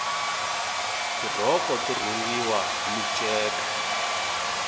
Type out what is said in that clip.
tirhoko to rhungiwa hi minceka